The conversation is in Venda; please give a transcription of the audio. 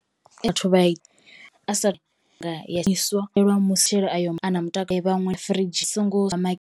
Vhathu vha a sala nga ayo a na mutakalo vhaṅwe firidzhi songo .